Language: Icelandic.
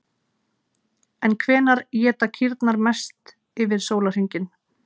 En hvenær éta kýrnar mest yfir sólarhringinn?